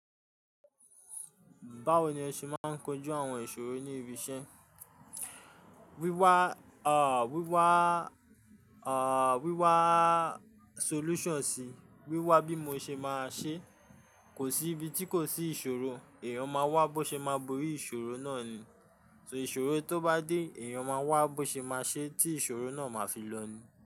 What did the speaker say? Báwo ni ẹ ṣe máa ń kojú àwọn ìṣòro ní ibi iṣẹ́? Wíwá, à, wíwá, à, wíwá solution sí, wíwá bí mo ṣe máa ṣe. Kò sí ibi tí kò sí ìṣòro, èèyàn máa wá bó ṣe máa borí ìṣòro náà ni. So ìṣòro tó bá dé, èèyàn máa wá bó ṣe máa ṣe tí ìṣòro náà máa fi lọ ni.